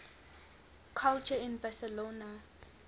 culture in barcelona